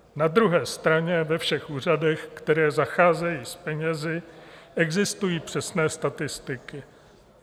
Na druhé straně, ve všech úřadech, které zacházejí s penězi, existují přesné statistiky.